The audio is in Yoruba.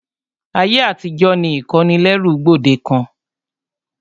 Ayé àtijó ni ìkónilẹ́rú gbòdekàn.